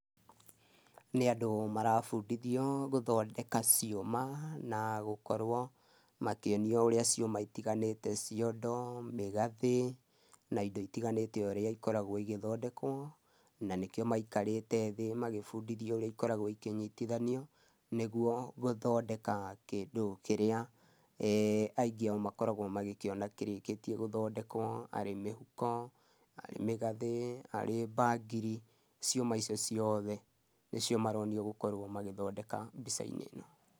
Nĩ andũ marabundithio gũthondeka ciũma, na gũkorwo makĩonio ũrĩa ciũma itiganĩte, ciondo, mĩgathĩ, na indo itiganĩte ũrĩa ikoragwo igĩthondekwo, na nĩkĩo maikarĩte thĩ magĩbundithio ũrĩa ikoragwo ikĩnyitithanio, nĩguo gũthondeka kĩndũ kĩrĩa aingĩ ao makoragũo magĩkĩona kĩrĩkĩtie gũthondekwo. Arĩ mĩhuko, arĩ mĩgathĩ, arĩ bangiri, ciũma icio ciothe nĩcio maronio gũkorwo magĩthondeka mbica-inĩ ĩno.